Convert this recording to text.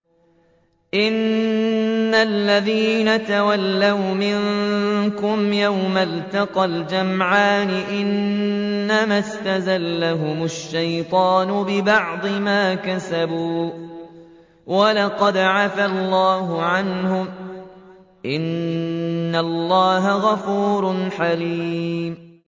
إِنَّ الَّذِينَ تَوَلَّوْا مِنكُمْ يَوْمَ الْتَقَى الْجَمْعَانِ إِنَّمَا اسْتَزَلَّهُمُ الشَّيْطَانُ بِبَعْضِ مَا كَسَبُوا ۖ وَلَقَدْ عَفَا اللَّهُ عَنْهُمْ ۗ إِنَّ اللَّهَ غَفُورٌ حَلِيمٌ